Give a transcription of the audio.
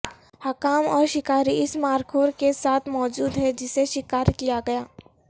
حکام اور شکاری اس مارخور کے ساتھ موجود ہیں جسے شکار کیا گیا